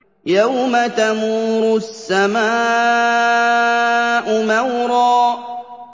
يَوْمَ تَمُورُ السَّمَاءُ مَوْرًا